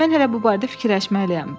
Mən hələ bu barədə fikirləşməliyəm.